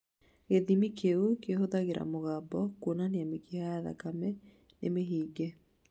Gĩthimi kĩu kĩhũthĩraga mũgambo kwonania mĩkiha ya thakamĩ nĩ mĩhinge